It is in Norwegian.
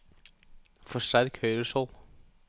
forsterk høyre skjold